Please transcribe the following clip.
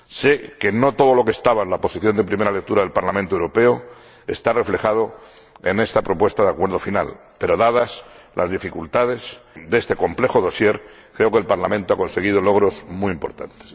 Sé que no todo lo que estaba en la Posición en primera lectura del Parlamento Europeo está reflejado en esta propuesta de acuerdo final, pero, dadas las dificultades de este complejo dossier, creo que el Parlamento ha conseguido logros muy importantes.